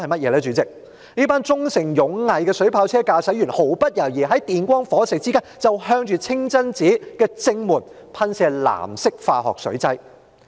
就是這群忠誠勇毅的水炮車駕駛員，毫不猶豫地在電光火石之間向着清真寺正門噴射藍色化學水劑。